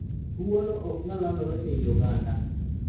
Tuwono ok nyal landore ei oganda